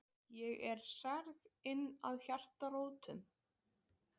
Ég er særð inn að hjartarótum.